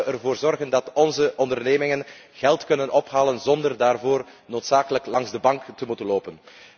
Hoe kunnen we ervoor zorgen dat onze ondernemingen geld kunnen ophalen zonder daarvoor noodzakelijk langs de bank te hoeven lopen?